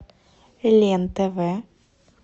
лен тв